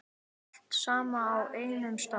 Allt saman á einum stað.